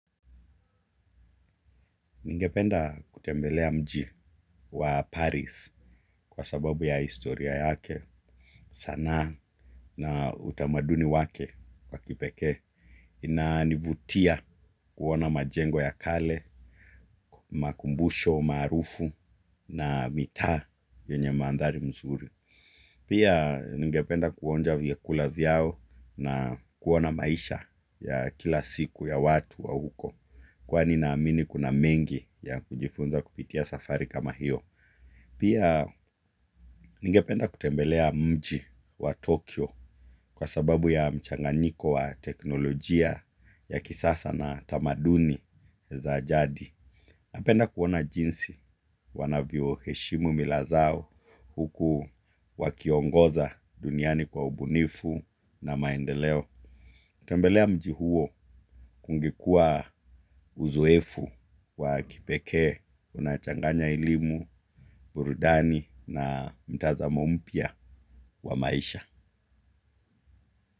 Ningependa kutembelea mji wa Paris kwa sababu ya historia yake sanaa na utamaduni wake wa kipekee inanivutia kuona majengo ya kale, makumbusho, marufu na mitaa yenye mandhari mzuri. Pia ningependa kuonja vyakula vyao na kuona maisha ya kila siku ya watu wa huko kwani naamini kuna mengi ya kujifunza kupitia safari kama hiyo. Pia ningependa kutembelea mji wa Tokyo kwa sababu ya mchanganiko wa teknolojia ya kisasa na tamaduni za jadi. Napenda kuona jinsi wanavyoheshimu mila zao huku wakiongoza duniani kwa ubunifu na maendeleo. Tembelea mji huo kungekuwa uzoefu wa kipekee, unachanganya elimu, burudani na mtazamo mpya wa maisha.